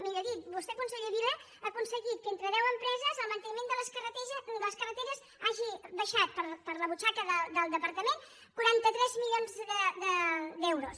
millor dit vostè conseller vila ha aconseguit que entre deu empreses el manteniment de les carreteres hagi baixat per a la butxaca del departament quaranta tres milions d’euros